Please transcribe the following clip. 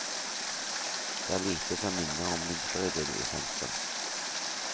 Det er lite som minner om vinteridyll i sentrum.